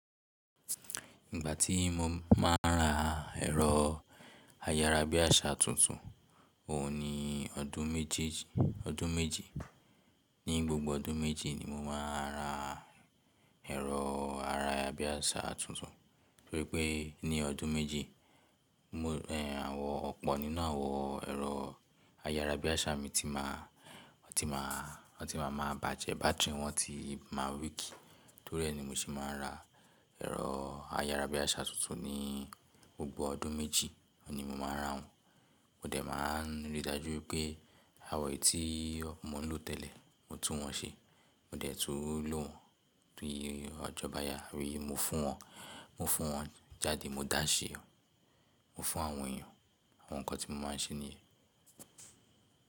Ìgbà tí mo máa ń ra ẹ̀rọ ayára bí àṣá tuntun, òun ni ọdún méjèèjì. Ọdún méjì. Ní gbogbo ọdún méjì ni mo máa ń ra ẹ̀rọ ayára bíàṣá tuntun, torí nipé ní ọdún méjì, ọ̀pọ̀ nínú àwọn ẹ̀rọ ayára bíàṣá mi ti máa, wọ́n ti máa, wọ́n ti máa máa bàjẹ́, bátìrì wọn ti máa weak. Torí ẹ ni mo ṣe máa ń ra ẹ̀rọ ayára bíàṣá tuntun ní gbogbo ọdún méjì, òun ni mo máa ń ra won. Mo dẹ̀ máa ń rí i dájú pé àwọn ètí mo lò tẹ́lẹ̀, mo tún wọn ṣe. Mo dẹ̀ tú lò wọ́n, tún un yé ọjọ́bá yá rí, mo fún wọn, mo fún wọn jáde, mo dáṣẹ́ eeyan, mo fún àwọn èèyàn. Àwọn nǹkan tí mo máa ń ṣe nìyẹn.